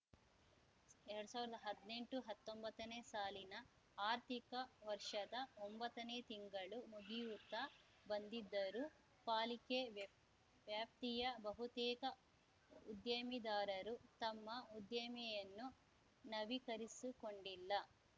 ಎರಡ್ ಸಾವಿರ್ದ್ ಹದ್ನೆಂಟುಹತ್ತೊಂಬತ್ತನೇ ಸಾಲಿನ ಆರ್ಥಿಕ ವರ್ಷದ ಒಂಬತ್ತನೇ ತಿಂಗಳು ಮುಗಿಯುತ್ತಾ ಬಂದಿದ್ದರೂ ಪಾಲಿಕೆ ವ್ಯಾಪ್ ವ್ಯಾಪ್ತಿಯ ಬಹುತೇಕ ಉದ್ಯಮೆದಾರರು ತಮ್ಮ ಉದ್ಯಮೆಯನ್ನು ನವೀಕರಿಸಿಕೊಂಡಿಲ್ಲ